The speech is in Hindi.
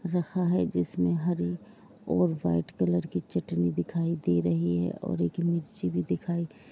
रखा है जिसमें हरे और व्हाइट कलर की चटनी दिखाई दे रही है और एक मिर्ची भी दिखाई --